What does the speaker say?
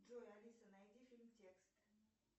джой алиса найди фильм текст